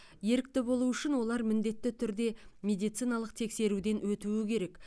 ерікті болу үшін олар міндетті түрде медициналық тексеруден өтуі керек